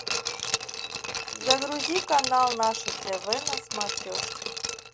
загрузи канал наше тв на смотрешке